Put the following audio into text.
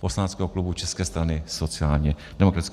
poslaneckého klubu České strany sociálně demokratické.